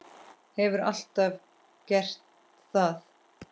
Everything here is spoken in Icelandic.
Hefur alltaf gert það.